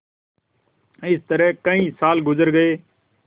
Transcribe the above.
इस तरह कई साल गुजर गये